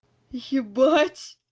ебать